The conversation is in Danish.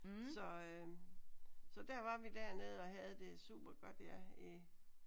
Så øh så der var vi dernede og havde det super godt ja i